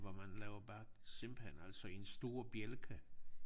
Hvor man laver bare simpelthen altså en stor bjælke